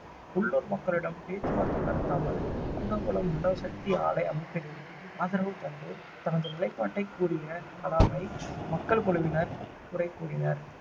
உள்ளூர் மக்களிடம் பேச்சுவார்த்தை நடத்தாமல் கூடங்குளம் அணு சக்தி ஆலை அமைப்பதில் ஆதரவு தந்து தனது நிலைப்பாட்டைக் கூறிய கலாமை மக்கள் குழுவினர் குறை கூறினர்